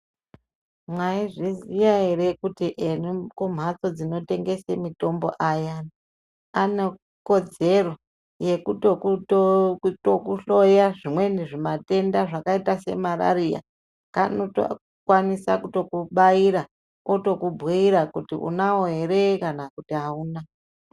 Mwai zviziya ere kuti ekumhatso dzinotengese mitombo payani. Anekodzero yekutokutokuhloya zvimweni zvimatenda zvakaita semarariya. Kanotokwanisa kutokubaira otokubhuira kuti unavo ere kana kuti hauna.